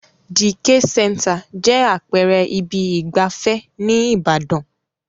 The K-Center jẹ́ àpẹẹrẹ ibi ìgbafẹ́ ní ìbàdàn.